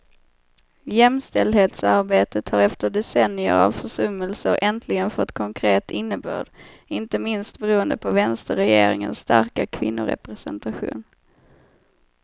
Jämställdhetsarbetet har efter decennier av försummelser äntligen fått konkret innebörd, inte minst beroende på vänsterregeringens starka kvinnorepresentation.